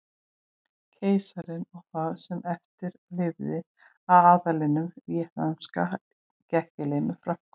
Keisarinn og það sem eftir lifði af aðlinum víetnamska gekk í lið með Frökkum.